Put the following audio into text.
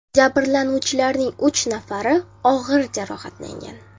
Jabrlanuvchilarning uch nafari og‘ir jarohatlangan.